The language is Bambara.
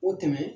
O dɛmɛ